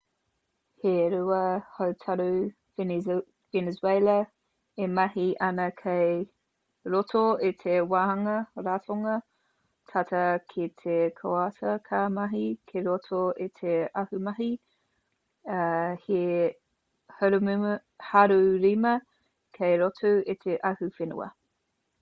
he rua hautoru venezuela e mahi āna kei roto i te wāhanga ratonga tata ki te koata ka mahi ki roto i te ahumahi ā he haurima kei roto i te ahuwhenua